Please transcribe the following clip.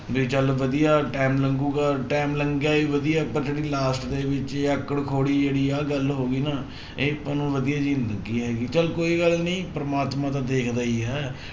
ਵੀ ਚੱਲ ਵਧੀਆ time ਲੰਘੇਗਾ time ਲੰਘਿਆ ਹੀ ਵਧੀਆ, ਪਰ ਜਿਹੜੀ last ਦੇ ਵਿੱਚ ਆਕੜ ਖੋੜੀ ਜਿਹੜੀ ਆਹ ਗੱਲ ਹੋ ਗਈ ਨਾ ਇਹ ਆਪਾਂ ਨੂੰ ਵਧੀਆ ਜਿਹੀ ਨੀ ਲੱਗੀ ਹੈਗੀ ਚੱਲ ਕੋਈ ਗੱਲ ਨੀ ਪਰਮਾਤਮਾ ਤਾਂ ਦੇਖਦਾ ਹੀ ਹੈ l